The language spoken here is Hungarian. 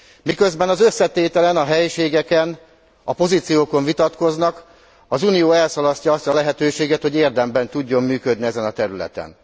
Miközben az összetételen, a helységeken, a pozíciókon vitatkoznak, az Unió elszalasztja azt a lehetőséget, hogy érdemben tudjon működni ezen a területen.